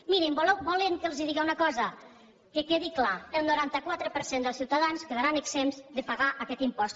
mirin volen que els digui una cosa que quedi clar el noranta quatre per cent dels ciutadans quedaran exempts de pagar aquest impost